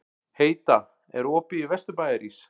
Heida, er opið í Vesturbæjarís?